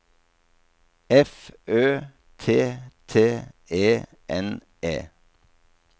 F Ø T T E N E